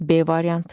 B variantı.